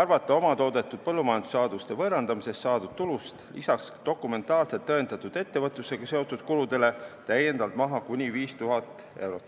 arvata oma toodetud põllumajandussaaduste võõrandamisest saadud tulust lisaks dokumentaalselt tõendatud ettevõtlusega seotud kuludele täiendavalt maha kuni 5000 eurot.